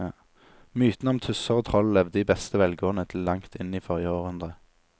Mytene om tusser og troll levde i beste velgående til langt inn i forrige århundre.